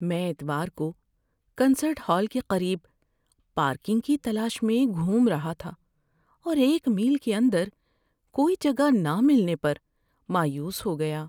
میں اتوار کو کنسرٹ ہال کے قریب پارکنگ کی تلاش میں گھوم رہا تھا اور ایک میل کے اندر کوئی جگہ نہ ملنے پر مایوس ہو گیا۔